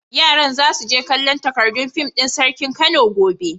Yaran za su je kallon takardun fim din Sarkin Kano gobe.